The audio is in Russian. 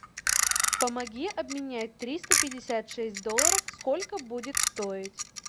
помоги обменять триста пятьдесят шесть долларов сколько будет стоить